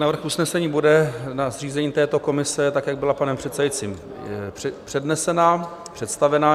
Návrh usnesení bude na zřízení této komise tak, jak byla panem předsedajícím přednesena, představena.